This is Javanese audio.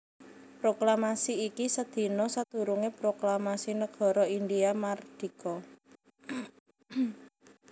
Proklamasi iki sadina sadurungé proklamasi nagara India mardika